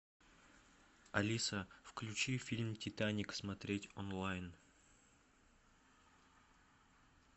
алиса включи фильм титаник смотреть онлайн